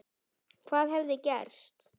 Hvað hefði gerst?